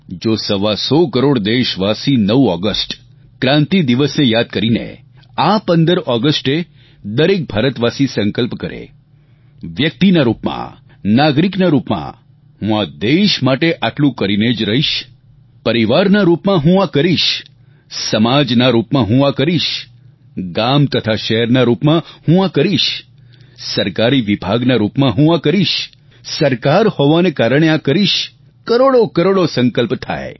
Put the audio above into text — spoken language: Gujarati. જો સવા સો કરોડ દેશવાસી 9 ઓગસ્ટ ક્રાંતિ દિવસને યાદ કરીને આ 15 ઓગસ્ટે દરેક ભારતવાસી સંકલ્પ કરે વ્યક્તિના રૂપમાં નાગરિકના રૂપમાં હું દેશ માટે આટલું કરીને જ રહીશ પરિવારના રૂપમાં હું આ કરીશ સમાજના રૂપમાં હું આ કરીશ ગામ તથા શહેરના રૂપમાં હું આ કરીશ સરકારી વિભાગના રૂપમાં હું આ કરીશ સરકાર હોવાને કારણે આ કરીશ કરોડોકરોડો સંકલ્પ થાય